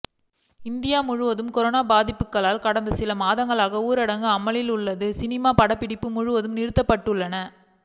India முழுவதும் corona பாதிப்புகளால் கடந்த சில மாதங்களாக ஊரடங்கு அமலில் உள்ளதால் சினிமா படப்பிடிப்புகள் முழுவதுமாக நிறுத்தப்பட்டுள்ளன